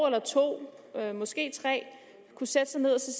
eller to måske tre år kunne sætte sig ned og se